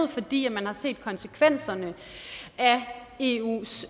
fordi man har set konsekvenserne af eus